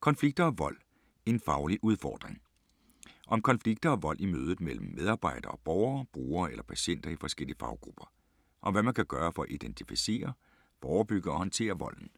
Konflikter og vold - en faglig udfordring Om konflikter og vold i mødet mellem medarbejdere og borgere, brugere eller patienter i forskellige faggrupper. Om hvad man kan gøre for at identificere, forebygge og håndtere volden.